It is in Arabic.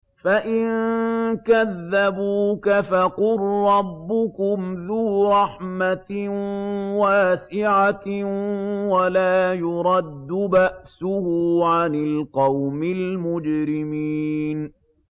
فَإِن كَذَّبُوكَ فَقُل رَّبُّكُمْ ذُو رَحْمَةٍ وَاسِعَةٍ وَلَا يُرَدُّ بَأْسُهُ عَنِ الْقَوْمِ الْمُجْرِمِينَ